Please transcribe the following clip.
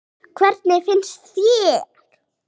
Hrund: Hvernig finnst þér?